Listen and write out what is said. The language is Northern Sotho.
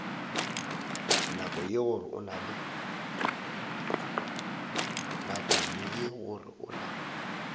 nako ye gore o na